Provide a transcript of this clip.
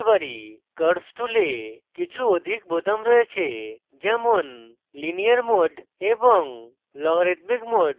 curves tool কিছু অধিক বোতাম রয়েছে যেমন linear mode এবং logarithmic mode